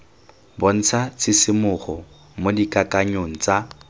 bontsha tshisimogo mo dikakanyong tsa